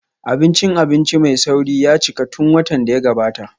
Abincin abinci mai sauri ya cika tun watan da ya gabata